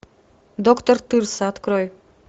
доктор тырса открой